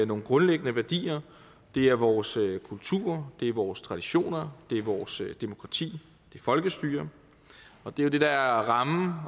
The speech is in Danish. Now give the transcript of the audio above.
nogle grundlæggende værdier det er vores kultur det er vores traditioner det er vores demokrati folkestyre og det er det der er rammen